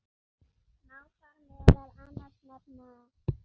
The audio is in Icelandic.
Má þar meðal annars nefna